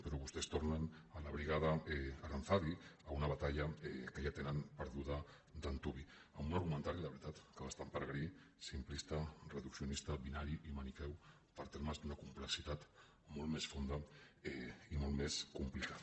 però vostès tornen a la brigada aranzadi a una batalla que ja tenen perduda d’antuvi amb una argumentari la veritat que bastant peregrí simplista reduccionista binari i maniqueu per a termes d’una complexitat molt més fonda i molt més complicada